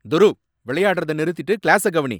துருவ், விளையாடுறத நிறுத்திட்டு கிளாஸ கவனி.